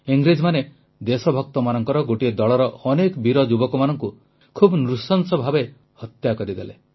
ଇଂରେଜମାନେ ଦେଶଭକ୍ତମାନଙ୍କର ଗୋଟିଏ ଦଳର ଅନେକ ବୀର ଯୁବକମାନଙ୍କୁ ଖୁବ ନୃଶଂସ ଭାବେ ହତ୍ୟା କରିଦେଲେ